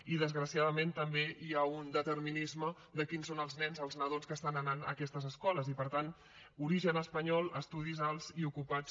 i desgraciadament també hi ha un determinisme de quins són els nens els nadons que estan anant a aquestes escoles i per tant origen espanyol estudis alts i ocupats